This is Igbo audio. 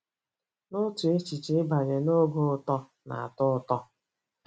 N'otu echiche, ịbanye n'oge uto na-atọ ụtọ.